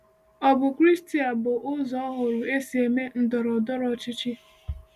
Ọ̀ bụ Kraịstịa bụ ụzọ ọhụrụ esi eme ndọrọ ndọrọ ọchịchị?